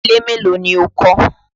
Ilé mélòó ni o kọ́?